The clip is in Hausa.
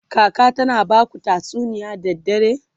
kaka tana Baku tatsuniya da dare?